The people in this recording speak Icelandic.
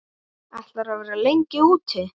Ætlarðu að vera lengi úti?